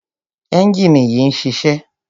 ẹ́njìnì yìí ń ṣiṣẹ́.